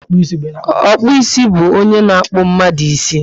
Okpu isi bu ónyé na akpu mmadụ ísì